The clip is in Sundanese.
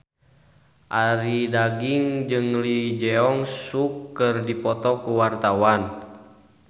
Arie Daginks jeung Lee Jeong Suk keur dipoto ku wartawan